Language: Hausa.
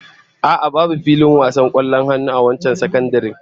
A'a, babu filin wasan kwallon hannu a wancan sakandaren